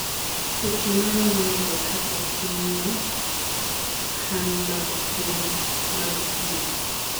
seche maromo nade kapok imiyo cahm mag pi